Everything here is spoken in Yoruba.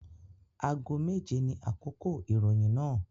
Ago méje ní àkókò ìròyìn náà